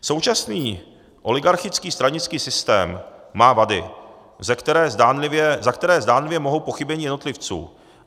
Současný oligarchický stranický systém má vady, za které zdánlivě mohou pochybení jednotlivců.